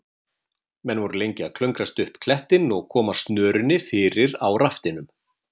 Menn voru lengi að klöngrast upp klettinn og koma snörunni fyrir á raftinum.